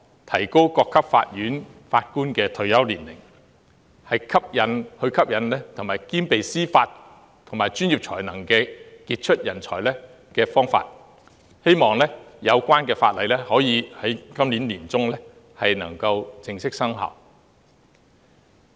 提高各級法院法官的退休年齡，是吸引兼備司法及專業才能的傑出人才的方法，希望有關的法例可以在今年年中正式生效。